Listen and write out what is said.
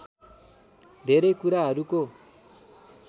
धेरै कुराहरूको